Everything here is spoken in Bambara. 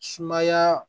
Sumaya